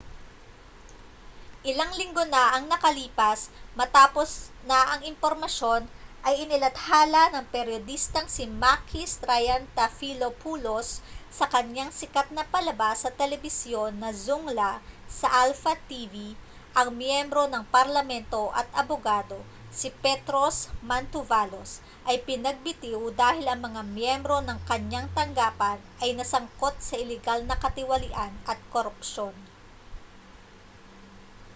ilang linggo na ang nakalipas matapos na ang impormasyon ay inilathala ng peryodistang si makis triantafylopoulos sa kaniyang sikat na palabas sa telebisyon na zoungla sa alpha tv ang miyembro ng parlamento at abogado si petros mantouvalos ay pinagbitiw dahil ang mga miyembro ng kaniyang tanggapan ay nasangkot sa ilegal na katiwalian at korupsyon